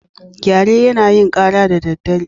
Gyare yana yin kara da dare.